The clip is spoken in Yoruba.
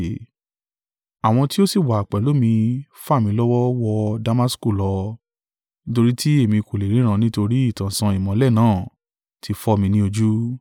Àwọn tí ó sì wà pẹ̀lú mi fà mí lọ́wọ́ wọ Damasku lọ nítorí tí èmi kò lè ríran nítorí ìtànṣán ìmọ́lẹ̀ náà ti fọ́ mi ní ojú.